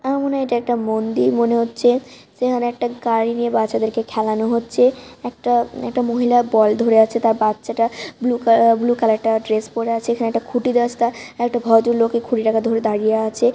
আমার মনে হয় এটা একটা মন্দির। মনে হচ্ছে যে এখানে একটা গাড়ি নিয়ে বাচ্চাদেরকে খেলানো হচ্ছে। একটা একটা মহিলা বল ধরে আছে। তার বাচ্চাটা ব্লু কালার ব্লু কালারে একটা ড্রেস পড়ে আছে। এখানে একটা খুঁটির রাস্তা। একটা ভদ্রলোক এই খুঁটিটাকে ধরে দাঁড়িয়ে আছে ।